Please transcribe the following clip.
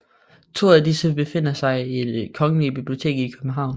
To af disse befinder sig i Det Kongelige Bibliotek i København